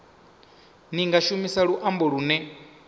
ni nga shumisa luambo lune